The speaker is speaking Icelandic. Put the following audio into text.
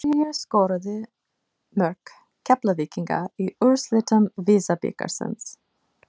Hverjir skoruðu mörk Keflvíkinga í úrslitum VISA-bikarsins?